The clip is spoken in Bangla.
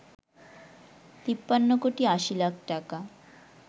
৫৩ কোটি ৮০ লাখ টাকা